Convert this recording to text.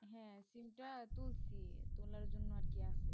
হ্যাঁ sim টা তুলছি তোলার জন্য আর কি আসে